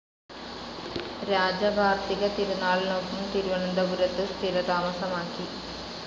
രാജ കാർത്തിക തിരുനാളിനൊപ്പം തിരുവനന്തപുരത്ത് സ്ഥിരതാമസമാക്കി.